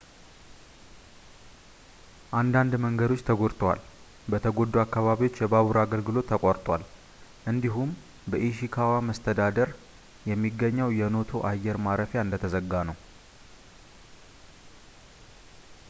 አንዳንድ መንገዶች ተጎድተዋል ፣ በተጎዱ አካባቢዎች የባቡር አገልግሎት ተቋርጧል እንዲሁም በኢሺካዋ መስተዳድር የሚገኘው የኖቶ አየር ማረፊያ እንደተዘጋ ነው